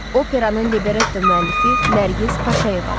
Operanın libretto müəllifi Nərgiz Paşayevadır.